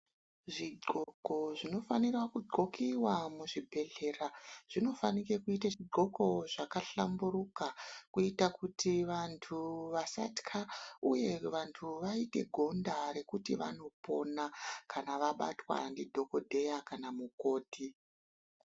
Zvigqoko zvinofanira kugqokiwa muzvibjedhlera zvinofanike kuite zvigqoko zvakahlamburuka kuita kuti vanthu vasatka uye vanthu vaite gonda rekuti vanopona kana vabatwa ndidhokodheya kana mukoti.